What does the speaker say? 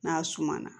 N'a suma na